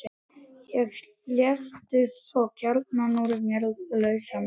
Svo léstu kjarnann úr mér lausan.